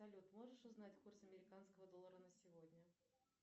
салют можешь узнать курс американского доллара на сегодня